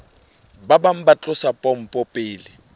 bang ba tlosa pompo pele